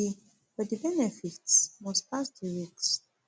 but di but di benefits must pass di risks